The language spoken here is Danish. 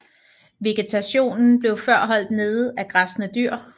Vegetationen blev før holdt nede af græssende dyr